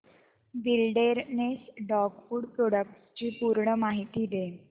wilderness dog food products ची पूर्ण माहिती दे